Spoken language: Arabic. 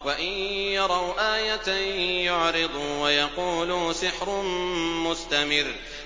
وَإِن يَرَوْا آيَةً يُعْرِضُوا وَيَقُولُوا سِحْرٌ مُّسْتَمِرٌّ